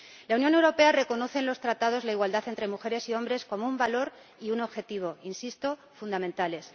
La Unión Europea reconoce en los Tratados la igualdad entre mujeres y hombres como un valor y un objetivo ―insisto― fundamentales.